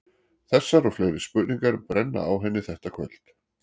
Þessar og fleiri spurningar brenna á henni þetta kvöld.